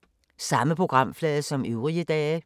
Samme programflade som øvrige dage